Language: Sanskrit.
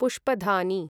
पुष्पधानी